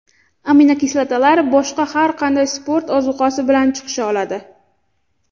Aminokislotalar boshqa har qanday sport ozuqasi bilan chiqisha oladi.